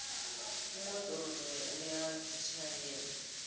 umodoro loya uyazitjhayela